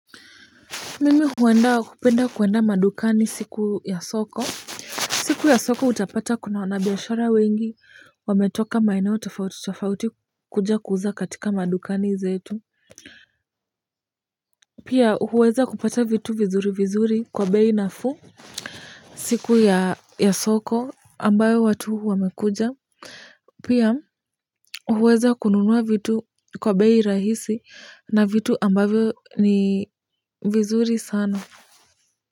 Mimi huenda kupenda kuenda madukani siku ya soko. Siku ya soko utapata kuna wanabiashara wengi wametoka maeneo tofauti tofauti kuja kuuza katika madukani zetu. Pia huweza kupata vitu vizuri vizuri kwa bei nafuu. Siku ya soko ambayo watu wamekuja pia huweza kununua vitu kwa bei rahisi na vitu ambavyo ni vizuri sana. Kwa hivyo.